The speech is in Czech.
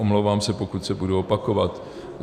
Omlouvám se, pokud se budu opakovat.